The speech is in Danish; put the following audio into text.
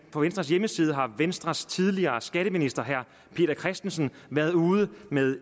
på venstres hjemmeside har venstres tidligere skatteminister herre peter christensen været ude med